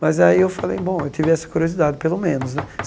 Mas aí eu falei, bom, eu tive essa curiosidade, pelo menos, né?